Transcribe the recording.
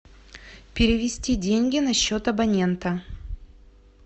перевести деньги на счет абонента